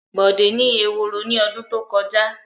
Bọ̀dé ni eworo ní ọdún tó kọjá.